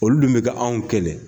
Olu dun bɛ ka anw kɛlɛ.